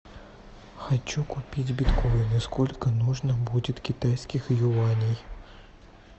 хочу купить биткоины сколько нужно будет китайских юаней